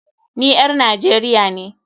NI ƴar Nigeria ne.